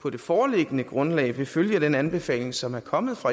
på det foreliggende grundlag vil følge den anbefaling som er kommet fra